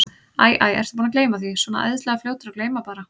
Æ, æ, ertu búinn að gleyma því. svona æðislega fljótur að gleyma bara.